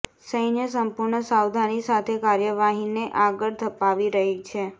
સૈન્ય સંપૂર્ણ સાવધાની સાથે કાર્યવાહીને આગળ ધપાવી રહી છે